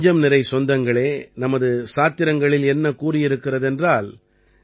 என் நெஞ்சம்நிறை சொந்தங்களே நமது சாத்திரங்களில் என்ன கூறியிருக்கிறது என்றால்